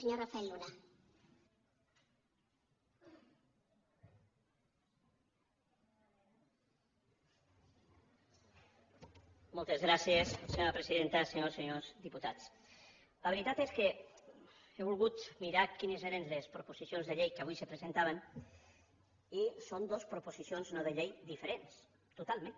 senyores i senyors diputats la veritat és que he volgut mirar quines eren les proposicions de llei que avui se presentaven i són dos proposicions no de llei diferents totalment